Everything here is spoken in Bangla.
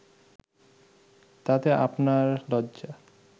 তাতে আপনার লজ্জা